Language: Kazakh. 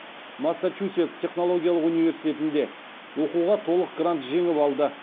массачусетс технологиялық университетінде оқуға толық грант жеңіп алды